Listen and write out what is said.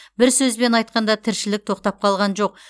бір сөзбен айтқанда тіршілік тоқтап қалған жоқ